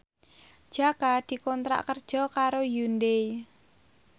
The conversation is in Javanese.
Jaka dikontrak kerja karo Hyundai